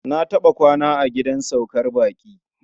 Na taɓa kwana a gidan saukar baƙi.